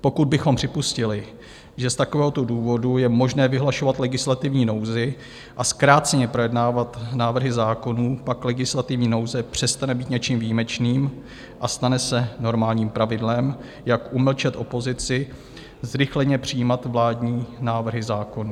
Pokud bychom připustili, že z takovéhoto důvodu je možné vyhlašovat legislativní nouzi a zkráceně projednávat návrhy zákonů, pak legislativní nouze přestane být něčím výjimečným a stane se normálním pravidlem, jak umlčet opozici, zrychleně přijímat vládní návrhy zákonů.